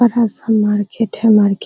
बड़ा सा मार्केट है मार्केट --